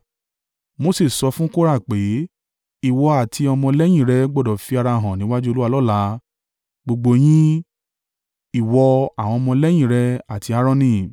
Mose sọ fún Kora pé, “Ìwọ àti ọmọ lẹ́yìn rẹ gbọdọ̀ fi ara hàn níwájú Olúwa lọ́la—gbogbo yín, ìwọ, àwọn ọmọ lẹ́yìn rẹ àti Aaroni.